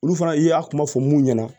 Olu fana i y'a kuma fɔ mun ɲɛna